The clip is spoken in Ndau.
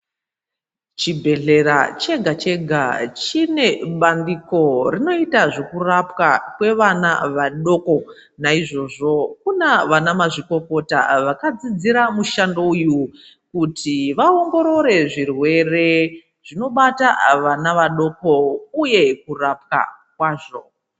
Chibhedhlera chega-chega chinebhandiko rinoita zvekurapwa kwevana vadoko naizvozvo kuna vana mazvikokota vakadzidzira mushando uyu kuti vaongorore zvirwere zvinobata vana vadoko uye kurapwa kwazvo.